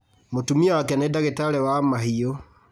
Mũtumia wake nĩ ndagĩtarĩ wa mahiũ